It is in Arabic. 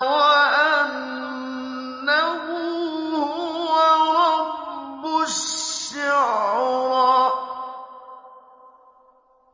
وَأَنَّهُ هُوَ رَبُّ الشِّعْرَىٰ